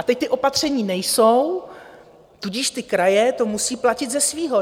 A teď ta opatření nejsou, tudíž ty kraje to musí platit ze svého.